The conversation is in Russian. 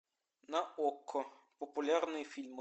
на окко популярные фильмы